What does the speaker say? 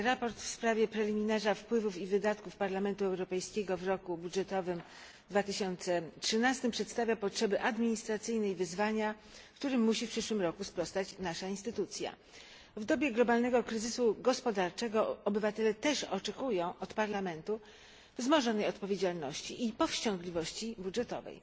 Sprawozdanie w sprawie preliminarza wpływów i wydatków Parlamentu Europejskiego w roku budżetowym 2013 przedstawia potrzeby administracyjne i wyzwania, którym musi w przyszłym roku sprostać nasza instytucja. W dobie globalnego kryzysu gospodarczego obywatele też oczekują od Parlamentu wzmożonej odpowiedzialności i powściągliwości budżetowej.